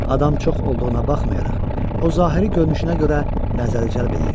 Adam çox olduğuna baxmayaraq, o zahiri görünüşünə görə nəzəri cəlb eləyirdi.